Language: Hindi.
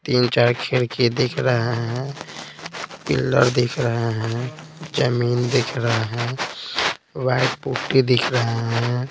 तीन-चार खिड़की दिख रहे है पिल्लर दिख रहे है जमीन दिख रहा है वाइट पुट्टी दिख रहे हैं।